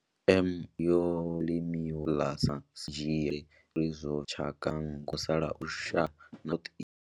M. indica yo vha i tshi khou limiwa kha ḽa South na Southeast Asia ubva kale zwine zwa vha uri zwo bveledza tshaka mbili dza manngo dza musalauno lushaka lwa India na lushaka lwa Southeast Asia.